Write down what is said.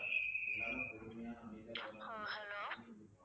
ஆஹ் hello